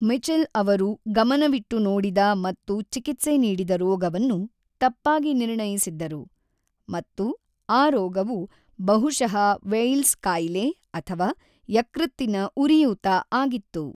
Mitchell ಅವರು ಗಮನವಿಟ್ಟು ನೋಡಿದ ಮತ್ತು ಚಿಕಿತ್ಸೆ ನೀಡಿದ ರೋಗವನ್ನು ತಪ್ಪಾಗಿ ನಿರ್ಣಯಿಸಿದ್ದರು, ಮತ್ತು ಆ ರೋಗವು ಬಹುಶಃ ವೈಲ್ಸ್ ಕಾಯಿಲೆ ಅಥವಾ ಯಕೃತ್ತಿನ ಉರಿಯೂತ ಆಗಿತ್ತು.